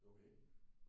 Okay